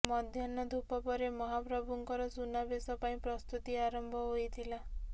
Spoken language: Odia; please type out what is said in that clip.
ମଧ୍ୟାହ୍ନ ଧୂପ ପରେ ମହାପ୍ରଭୁ ଙ୍କର ସୁନାବେଶ ପାଇଁ ପ୍ରସ୍ତୁତି ଆରମ୍ଭ ହୋଇଥିଲା